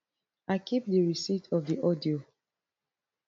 i keep di receipt of di audio